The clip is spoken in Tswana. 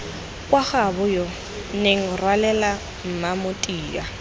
kwa gaaboyoo nenga rwalela mmamotia